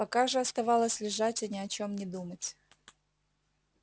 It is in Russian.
пока же оставалось лежать и ни о чем не думать